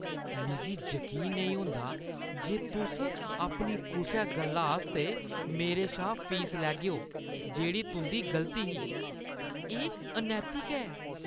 मिगी यकीन नेईं होंदा जे तुस अपनी कुसै गल्ला आस्तै मेरे शा फीस लैगेओ जेह्ड़ी तुंʼदी गलती ही। एह् अनैतिक ऐ।